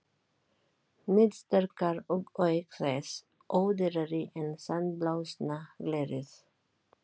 Níðsterkar og auk þess ódýrari en sandblásna glerið.